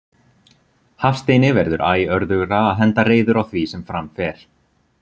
Hafsteini verður æ örðugra að henda reiður á því sem fram fer.